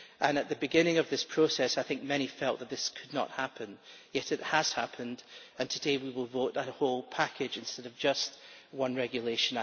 At the beginning of this process I think many felt that this could not happen, yet it has happened, and today we will vote the whole package instead of just one regulation.